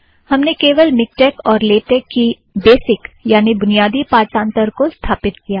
हमने केवल मिक्टेक और लेटेक के बेसिक बेसिक यानि बुनियादी पाठंतर को स्थापित किया है